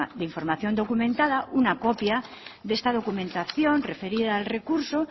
de información documentada una copia de esta documentación referida al recurso